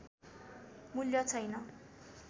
मूल्य छैन